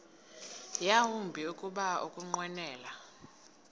yawumbi kuba ukunqwenela